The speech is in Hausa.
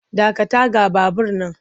Dakata ga babur nan!